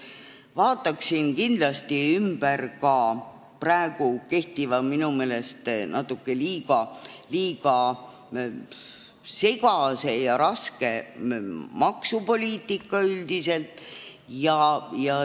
Vaataksin kindlasti üle ka kehtiva, minu meelest natuke liiga segase ja raske maksupoliitika üldiselt.